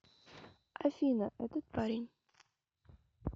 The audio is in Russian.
афина этот парень